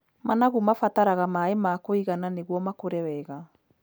Managu mabataraga maaĩ ma kũigana nĩguo makũre wega.